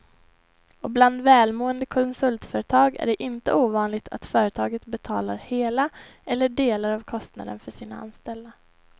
Och bland välmående konsultföretag är det inte ovanligt att företaget betalar hela eller delar av kostnaden för sina anställda.